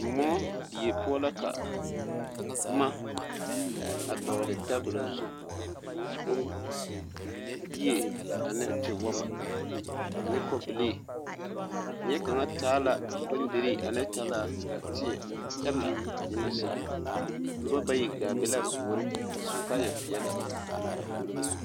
Moɔ die poɔ la ka boma a dɔgle tabola zu bombie ane tewoma ane kɔbilii neɛ kaŋ taa la bondirii ane talaa teɛ kyɛ la ka nyimɛ saa noba bayi gaa be la a puori a su kaayɛpeɛlle a puori be.